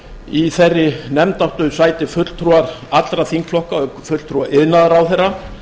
í þeirri nefnd áttu sæti fulltrúar allra þingflokka auk fulltrúa iðnaðarráðherra